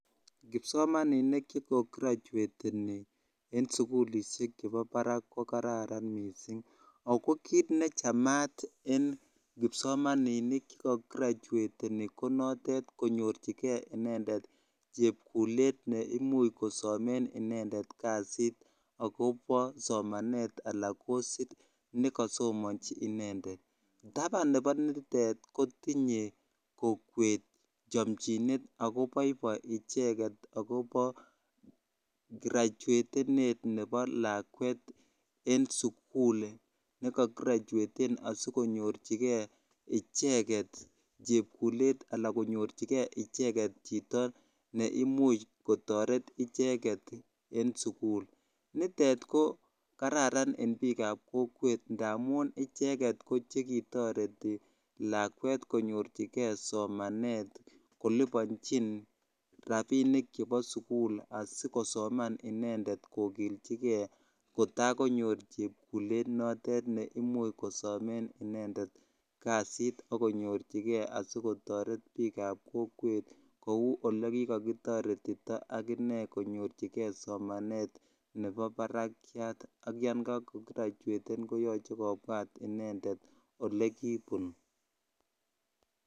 Kipsomaninik che ko graduateni en sukulishek chebo barak ko kararan mising' ak ko kiit nechamat en kipsomaninik che ka graduateni ko notet konyorchike inendet chepkulet neimuch kosomen inendet kasit akobo somanet alaan kosit nekosomonji inendet, taban nebo nitet kotinye kokwet chomchinet ak ko boiboi icheket ak kobo graduetenet nebo lakwet en sukul ne ka gradueten sikonyorchike icheket chepkulet alaan konyorchike icheket chito neimuch kotoret icheket en sukul nitet ko kararan en biikab kokwet ndamun icheket ko chekitoreti lakwet konyorchike somanet kolibonchin rabinik chebo sukul asikosoman inendet kokilchike kotaa konyor chepkulet notet neimuch kosomen inendet kasiit ak konyorchike ak kotoret biikab kokwet kouu olee kikokitoretito ak inee konyorchike somanet nebo barakiat ak yoon kakogradueten koyoche kobwat inendet olekibun.